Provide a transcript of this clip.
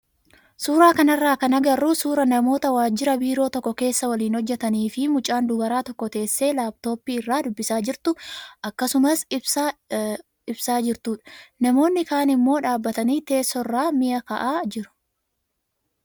Suuraa kanarraa kan agarru suuraa namoota waajjira biiroo tokko keessa waliin hojjatanii fi mucaan dubaraa tokko teessee laappitooppii irraa dubbisaa jirtu akkasumas ibsaa jirtudha. Namoonni kaan immoo dhaabbatanii teessoorra mi'a kaa'aa jiru.